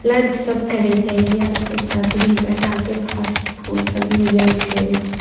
Lunch सब करे जईय एटा विभिन्न प्रकार के फ़ास्ट फ़ूड सब मिलए छे।